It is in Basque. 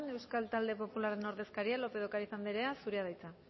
euskal talde popularren ordezkaria lópez de ocariz andrea zurea da hitza